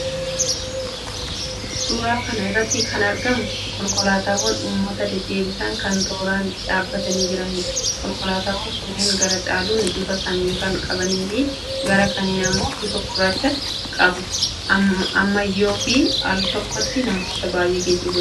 Suuraa kana irratti kan argamu konkolaataawwan uummata deddeebisan kan tooraan dhaabbatanii jiraniidha. Konkolaataawwan kunneen gara caaluun bifa samii kan qabaniifi gara kaaniin immoo bifa gurraacha qabu. Ammayyaa'oofi altokkotti namoota baay'ee geejjibuu danda'u.